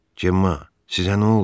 Cemma, sizə nə oldu?